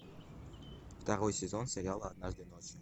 второй сезон сериал однажды ночью